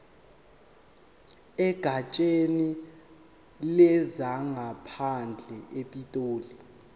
egatsheni lezangaphandle epitoli